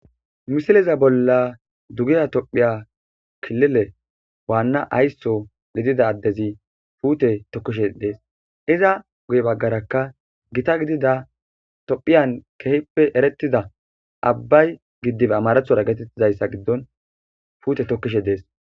Missileza bolla duggeha tophphiya killile waana aysso giddida addezi puute tokkishe dessi izza guye baggaraka giita giddida tophphiyan kehippe erretida abbay giddibe ammarathon gettetizaysa giddon puutte tokishe dessi.